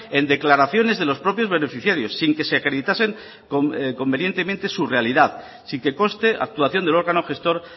en declaraciones de los propios beneficiarios sin que se acreditasen convenientemente su realidad sin que conste actuación del órgano gestor